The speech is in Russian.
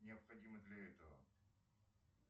необходимо для этого